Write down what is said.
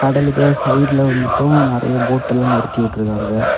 கடலுக்கு சைடுல வந்துட்டோம் நறைய போட் எல்லாம் நிறுத்தி வச்சியிருக்கிறாங்க.